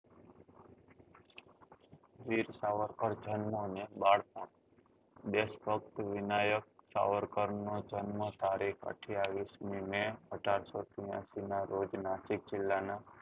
વીર સાવરકર ને બાળ ભક્ત દેશ ભક્ત વિનાયક સાવરકર નો જન્મ તારીખ અથીયાવીસ મી મેં અઢારસો ચુમ્મોતેર ના રોજ નાસિક જીલ્લા ના